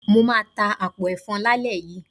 Mo máa ta àpò ẹ̀fọn lálẹ́ yìí.